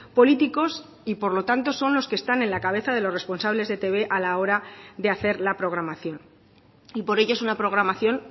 políticos y por lo tanto son los que están en la cabeza de los responsables de etb a la hora de hacer la programación y por ello es una programación